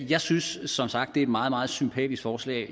jeg synes som sagt det er et meget meget sympatisk forslag